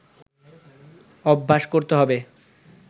অভ্যাস করতে হবে